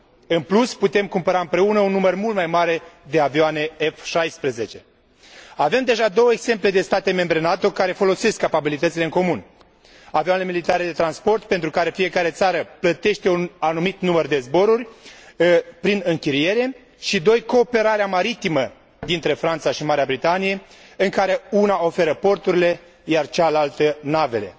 În plus, putem cumpăra împreună un număr mult mai mare de avioane F 16. Avem deja două exemple ale modului în care state membre NATO folosesc capabilitățile în comun avioane militare de transport, pentru care fiecare țară plătește un anumit număr de zboruri, prin închiriere, și cooperarea maritimă dintre Franța și Marea Britanie, în care una oferă porturile, iar cealaltă navele.